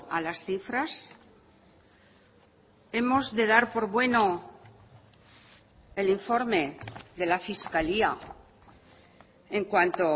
a las cifras hemos de dar por bueno el informe de la fiscalía en cuanto